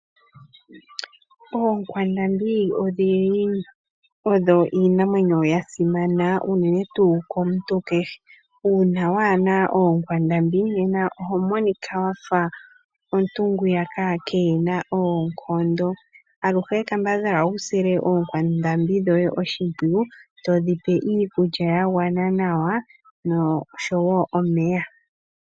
Oonkwandambi odhili odho iinamwenyo ya simana unene tuu komuntu kehe. Uuna waana oonkwandambi nena oho monika wafa omuntu ngwiyaka keena oonkondo. Aluhe kambadhala wu sile oonkwandambi dhoye oshimpwiyu, todhi pe iikulya ya gwana nawa noshowo omeya.